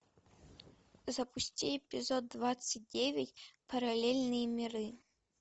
запусти эпизод двадцать девять параллельные миры